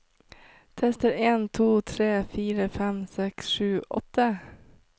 Tester en to tre fire fem seks sju åtte